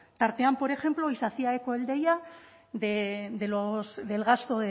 tartean por ejemplo y se hacía eco el deia del gasto